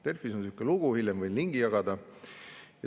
Delfis on selline lugu, hiljem võin linki jagada.